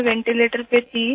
मैं वेंटीलेटर पे थी